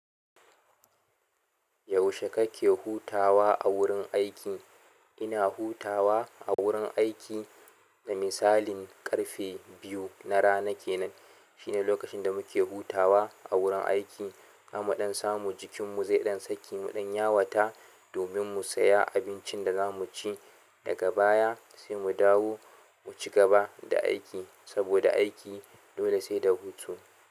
Yaushe kake hutawa a wurin aiki? Ina hutawa a wurin aiki, misali ƙarfe biyu na rana kenan. Shine lokacin da muke hutawa a wurin aiki. Har mu dan samu jikinmu zai ɗan saki mu ɗan yawata, domin mu saya abincin da za mu ci daga baya sai mu dawo mu cigaba da aiki. Saboda aiki dole sai da hutu.